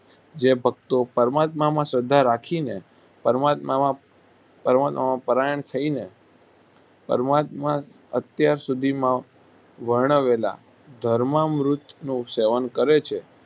જે ભકતો પરમાત્મામાં શ્રદ્ધા રાખીને પરમાત્મામાં પરમાત્મામાં પરાયણ થઈને પરમાત્મા અત્યાર સુધીમાં વર્ણવેલા ધર્મમૃતનું સેવન કરે છે